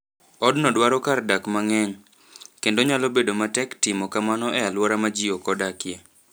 Odno dwaro kar dak mang'eny, kendo nyalo bedo matek timo kamano e alwora ma ji ok odakie.